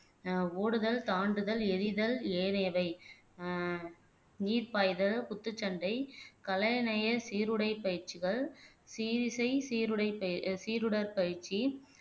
ஆஹ் ஓடுதல் தாண்டுதல் எரிதல் ஏனையவை ஆஹ் நீர் பாய்தல் குத்துச்சண்டை சீருடைப் பயிற்சிகள் சீரிசை சீருடை ப அஹ் சீருடர் பயிற்சி